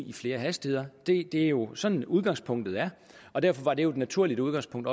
i flere hastigheder det er jo sådan udgangspunktet er og derfor var det også et naturligt udgangspunkt